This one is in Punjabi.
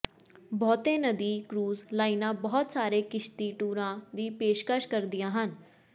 ਬਹੁਤੇ ਨਦੀ ਕ੍ਰੂਜ਼ ਲਾਈਨਾਂ ਬਹੁਤ ਸਾਰੇ ਕਿਸ਼ਤੀ ਟੂਰਾਂ ਦੀ ਪੇਸ਼ਕਸ਼ ਕਰਦੀਆਂ ਹਨ